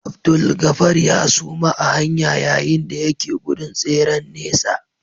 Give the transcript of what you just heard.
Abdulgafar ya suma a hanya yayin da yake gudun tseren nesa